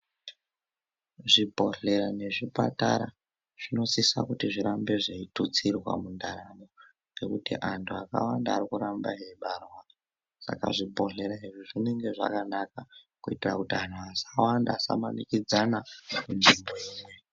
Zvibhodhlera nezvipatara zvinosisa kuti zvirambe zveitutsirwa mundarama ngekuti anthu anoramba eibarwa saka zvibhodhlera izvi zvinonga zvakanaka kuitira kuti anthu asawanda asamanikidzana.